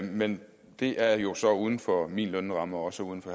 men det er jo så uden for min lønramme og også uden for